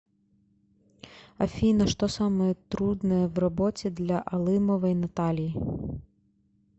афина что самое трудное в работе для алымовой натальи